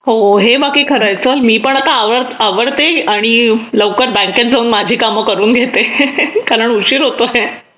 हो हे बाकी खरंय चल मी पण आता आवर्ते आणि लवकरच मार्केटमध्ये जाऊन माझे काम करून घेते मला उशीर होतोय